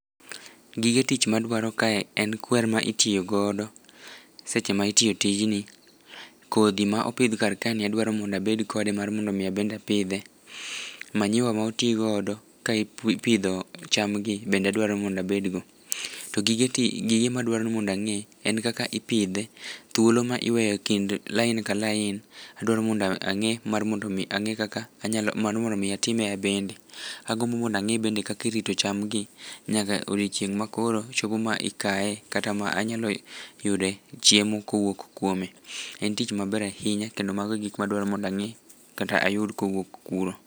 Gige tich ma adwaro kae en kwer ma itiyogodo seche ma itiyo tijni, kodhi ma opidh kar kae ni adwaro mondo abed kode mar mondo mi an bende apidhe. Manyiwa ma oti godo ka ipidho cham gi bende adwaro mondo abedgo. To gige tich, gige ma adwaro mondo angé en kaka ipidhe, thuolo ma iweyo kind line ka line, adwaro mondo angé, mar mondo omi angé kaka anyalo, mar mondo omi atime an bende. Agombo mondo angé bende kaka irito cham gi, nyaka odiechieng' ma koro chopo ma ikaye kata ma anyalo yude chiemo kowuok kuome. E n tich maber ahinya, kendo mago e gik ma adwaro mondo angé kata ayud kowuok kuro.